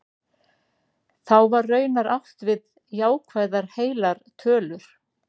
Þá var raunar átt við jákvæðar heilar tölur.